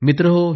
मित्रांनो